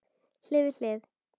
Hlið við hlið.